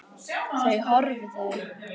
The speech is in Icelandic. Þau horfðu.